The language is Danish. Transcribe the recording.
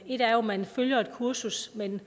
ét er jo at man følger et kursus men